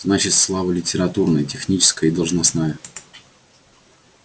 значит слава литературная техническая и должностная